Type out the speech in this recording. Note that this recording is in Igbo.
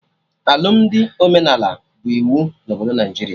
Alụmdi omenala bụ iwu na obodo Naijiria